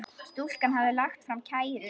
Stúlkan hafði lagt fram kæru.